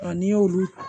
n'i y'olu